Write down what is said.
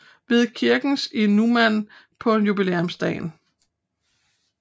Ved kirkens i Numan på jubilæumsdagen